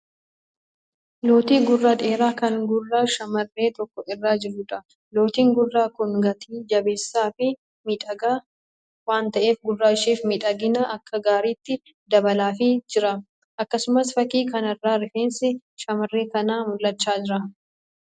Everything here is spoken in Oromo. Lootii gurraa dheeraa kan gurra shamarree tokko irra jiruudha. Lootiin gurraa kun gatii jabeessaa fi miidhagaa waan ta'eef gurra isheef miidhagina akka gaariitti dabalaafii jira. Akkasumas fakkii kanarraa rifeensi shamarree kanaa mul'achaa jira.